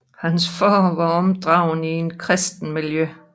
Hans far blev opdraget i et kristent miljø